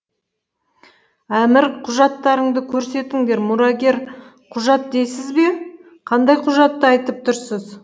әмір құжаттарыңды көрсетіңдер мұрагер құжат дейсіз бе қандай құжатты айтып тұрсыз